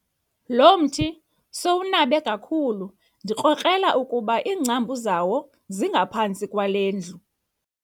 Lo mthi sowunabe kakhulu ndikrokrela ukuba iingcambu zawo zingaphantsi kwale ndlu.